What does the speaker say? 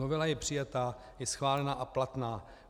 Novela je přijata, je schválená a platná.